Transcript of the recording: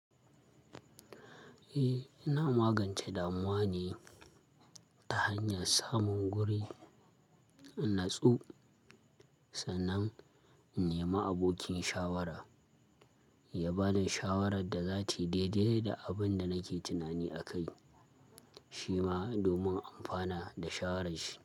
Eh, ina magance damuwa ne ta hanyar samun guri in natsu sannan in nemi abokin shawara ya bani shawarar da zata yi daidai da abin da nake tunani akai, shi ma domin in amfana da shawarar shi.